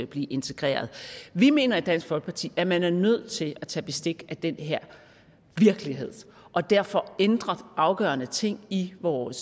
blive integreret vi mener i dansk folkeparti at man er nødt til at tage bestik af den her virkelighed og derfor ændre afgørende ting i vores